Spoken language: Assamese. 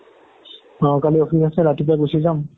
অ' কালি office আছে ৰাতিপুৱা গুচি যাম